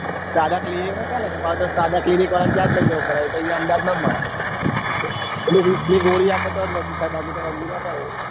સદા clinic ના સદા clinic વાળા ન ત્યાં જ લઇ જવો પડે એતો અહીંયા અમદાવાદ માં જ મળે પેલી વિકસ ની ગોળી આપો તો જ બાકી ના ખાય એ